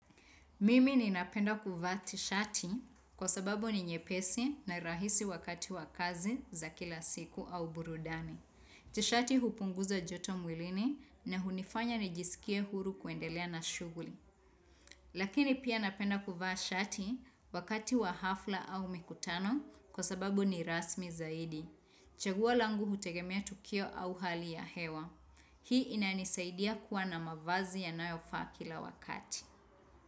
Mimi ninapenda kuvaa tishati kwa sababu ni nyepesi na rahisi wakati wa kazi za kila siku au burudani. Tishati hupunguza joto mwilini na hunifanya nijisikie huru kuendelea na shughuli. Lakini pia napenda kuvaa shati wakati wa hafla au mikutano kwa sababu ni rasmi zaidi. Chaguo langu hutegemea tukio au hali ya hewa. Hii inanisaidia kuwa na mavazi yanayofaa kila wakati.